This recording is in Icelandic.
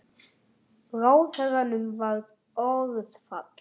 Ráðherranum varð orðfall.